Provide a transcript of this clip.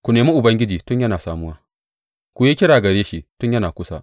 Ku nemi Ubangiji tun yana samuwa; ku yi kira gare shi tun yana kusa.